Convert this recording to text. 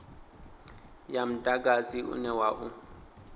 ya mudagasi une wa u